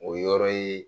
O yɔrɔ ye